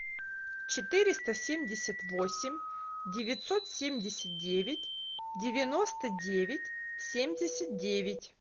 четыреста семьдесят восемь девятьсот семьдесят девять девяносто девять семьдесят девять